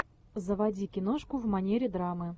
заводи киношку в манере драмы